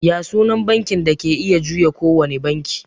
Ya sunan bankin da ke iya juya kowane banki?